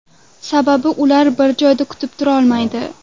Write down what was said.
Sababi ular bir joyda kutib turmaydi.